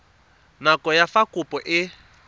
nako ya fa kopo e